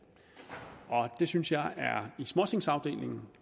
og det synes jeg er i småtingsafdelingen